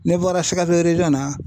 Ne bɔra SIKASO na.